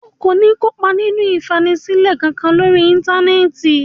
O kò ní kópa nínú ìfanisílẹ̀ kankan lórí Íńtánẹ́ẹ̀tì.